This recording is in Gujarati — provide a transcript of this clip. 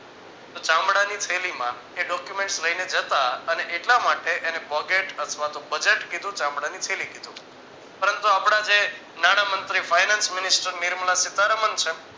ચામડાની થેલીમાં એ documents લઈને જતા અને એટલા માટે એને bougette અથવા તો budget કીધું ચામડાની થેલી કીધું પરંતુ આપડા જે નાણામંત્રી finance minister નિર્મલા સીતારામન છે